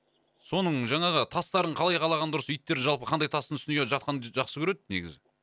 соның жаңағы тастарын қалай қалаған дұрыс иттер жалпы қандай тастың үстіне жатқанды жақсы көреді негізі